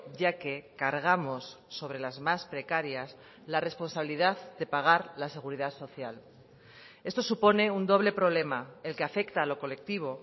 ya que cargamos sobre las más precarias la responsabilidad de pagar la seguridad social esto supone un doble problema el que afecta a lo colectivo